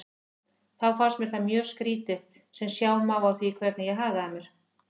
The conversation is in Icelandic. Þá fannst mér það mjög skrýtið sem sjá má á því hvernig ég hagaði mér.